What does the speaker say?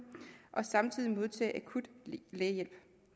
og samtidig modtage akut lægehjælp